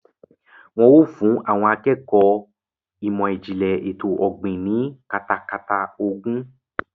Wọ́n yóò fún àwọn akẹ́kọ̀ọ́ ìmọ̀ ìjìnlẹ̀ ètò ọ̀gbìn ní katakata ogún.